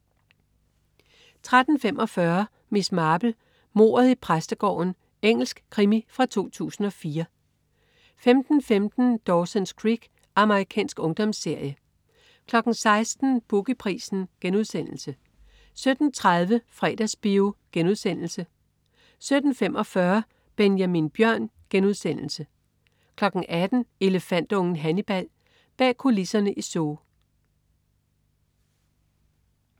13.45 Miss Marple: Mordet i præstegården. Engelsk krimi fra 2004 15.15 Dawson's Creek. Amerikansk ungdomsserie 16.00 Boogie Prisen* 17.30 Fredagsbio* 17.45 Benjamin Bjørn* 18.00 Elefantungen Hannibal. Bag kulisserne i Zoo